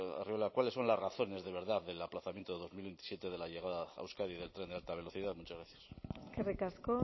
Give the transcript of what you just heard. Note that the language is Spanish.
arriola cuáles son las razones de verdad del aplazamiento de dos mil veintisiete de la llegada a euskadi del tren de alta velocidad muchas gracias eskerrik asko